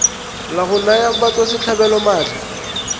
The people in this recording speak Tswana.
la go naya batswasetlhabelo maatla